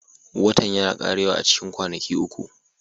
Watan yana ƙarewa a cikin kwanaki uku